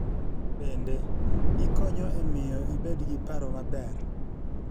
Bende, gikonyo e miyo ibed gi paro maber.